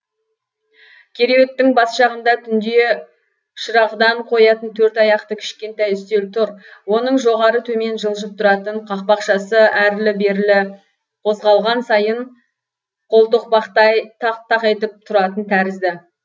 кереуеттің бас жағында түнде шырағдан қоятын төрт аяқты кішкентай үстел тұр оның жоғары төмен жылжып тұратын қақпақшасы әрілі берілі қозғалған сайын қолтоқпақтай тақ тақ етіп тұратын тәрізді